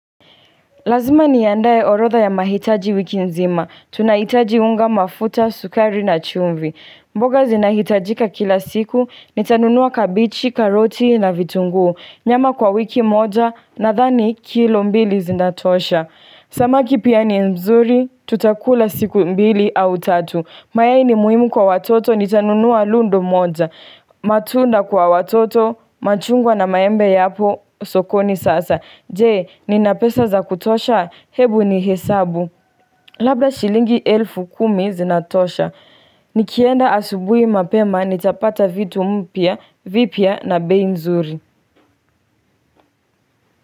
Lazima ni andae orotha ya mahitaji wiki nzima. Tunahitaji unga mafuta, sukari na chumvi. Mboga zinahitajika kila siku. Nitanunua kabichi, karoti na vitunguu. Nyama kwa wiki moja nathani kilo mbili zinatosha. Samaki pia ni nzuri, tutakula siku mbili au tatu. Mayai ni muhimu kwa watoto, nitanunua lundo moja. Matunda kwa watoto, machungwa na maembe yapo, sokoni sasa. Jee, ninapesa za kutosha, hebu ni hesabu. Labda shilingi elfu kumi zinatosha. Nikienda asubui mapema, nitapata vitu mpia, vipia na bei mzuri.